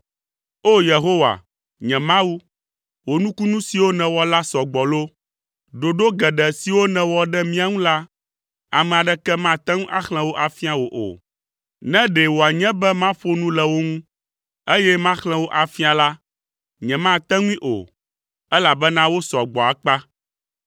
O! Yehowa, nye Mawu, wò nukunu siwo nèwɔ la sɔ gbɔ loo! Ɖoɖo geɖe siwo nèwɔ ɖe mía ŋu la, ame aɖeke mate ŋu axlẽ wo afia wò o. Ne ɖe wòanye be maƒo nu le wo ŋu, eye maxlẽ wo afia la, nyemate ŋui o, elabena wosɔ gbɔ akpa.